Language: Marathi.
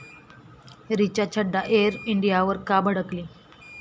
रिचा छड्डा एअर इंडियावर का भडकली?